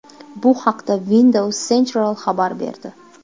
Bu haqda Windows Central xabar berdi .